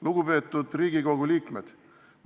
Lugupeetud Riigikogu liikmed!